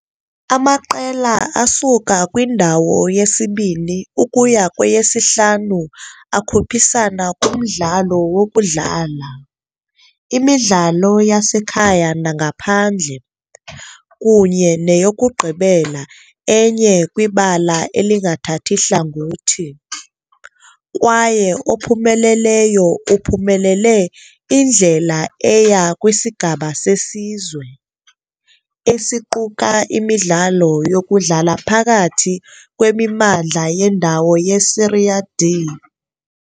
Amaqela asuka kwindawo yesibini ukuya kweyesihlanu akhuphisana kumdlalo wokudlala, imidlalo yasekhaya nangaphandle, kunye neyokugqibela enye kwibala elingathathi hlangothi, kwaye ophumeleleyo uphumelele indlela eya kwisigaba seSizwe, esiquka imidlalo yokudlala phakathi kwemimandla yendawo yeSerie D.